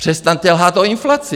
Přestaňte lhát o inflaci.